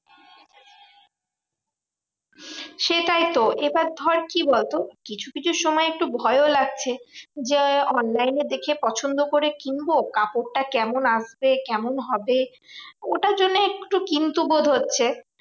সেটাই তো, এবার ধর কি বলতো? কিছু কিছু সময় একটু ভয়ও লাগছে। যে online এ দেখে পছন্দ করে কিনবো কাপড়টা কেমন আসবে কেমন হবে? ওটার জন্য একটু কিন্তু বোধ হচ্ছে।